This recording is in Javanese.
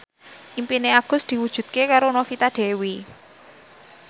impine Agus diwujudke karo Novita Dewi